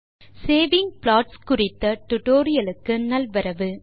hello saving plots குறித்த டியூட்டோரியல் க்கு நல்வரவு